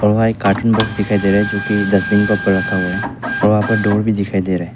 और वहां एक कार्टून बॉक्स दिखाई दे रहा है जो कि डस्टबिन के ऊपर रखा हुआ है और वहां पर एक डोर भी दिखाई दे रहा है।